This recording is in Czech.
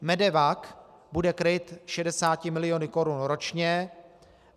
MEDEVAC bude kryt 60 miliony korun ročně.